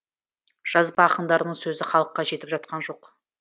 жазба ақындарының сөзі халыққа жетіп жатқан жоқ